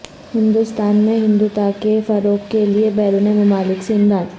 ہندوستان میں ہندوتوا کے فروغ کے لیے بیرون ممالک سے امداد